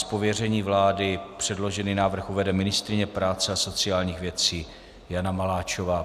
Z pověření vlády předložený návrh uvede ministryně práce a sociálních věcí Jana Maláčová.